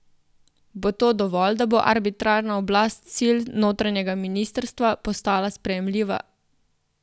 Bo to dovolj, da bo arbitrarna oblast sil notranjega ministrstva postala sprejemljiva?